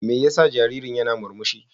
Me yasa jaririn yana murmushi?